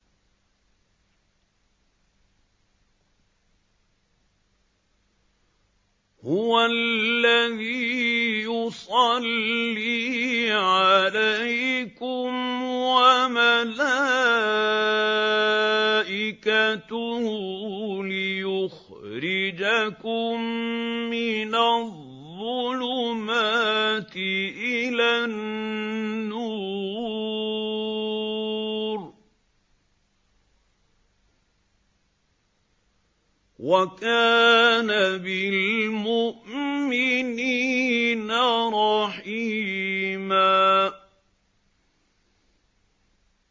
هُوَ الَّذِي يُصَلِّي عَلَيْكُمْ وَمَلَائِكَتُهُ لِيُخْرِجَكُم مِّنَ الظُّلُمَاتِ إِلَى النُّورِ ۚ وَكَانَ بِالْمُؤْمِنِينَ رَحِيمًا